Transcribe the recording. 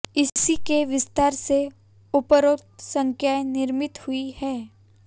इसी के विस्तार से उपरोक्त संख्याएं निर्मित हुई हैं